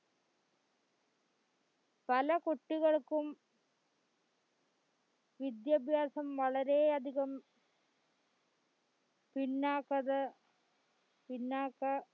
പല കുട്ടികൾകും വിദ്യാഭ്യാസം വളരെയധികം പിന്നോക്കത പിന്നാക്ക